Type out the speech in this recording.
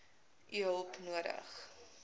u hulp nodig